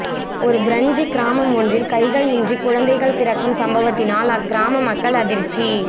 ஒரு பிரெஞ்சு கிராமம் ஒன்றில் கைகள் இன்றி குழந்தைகள் பிறக்கும் சம்பவத்தினால் அக் கிராம மக்கள் அதிச்சி